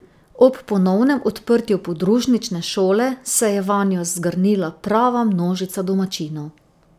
Ob ponovnem odprtju podružnične šole se je vanjo zgrnila prava množica domačinov.